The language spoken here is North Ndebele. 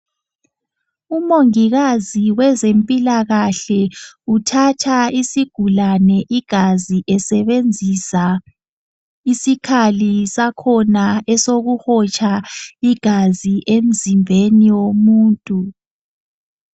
Umongikazi wezempilakahle uthatha isigulane igazi esebenzisa isikhali sakhona esokuhotsha igazi emzimbeni womuntu.